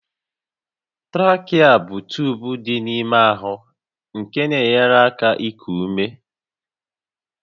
Trakịa bụ tuubu dị n'ime ahụ nke na-enyere aka iku ume